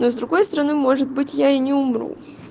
но с другой стороны может быть я и не умру